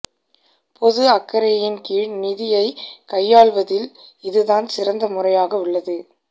பொது அக்கறையின் கீழ் நிதியை கையாள்வதில் இதுதான் சிறந்த முறையாக உள்ளது